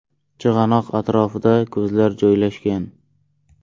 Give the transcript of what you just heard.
Chig‘anoq atrofida ko‘zlar joylashgan.